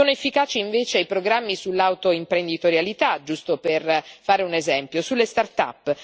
Sono efficaci invece i programmi sull'autoimprenditorialità, giusto per fare un esempio, sulle start up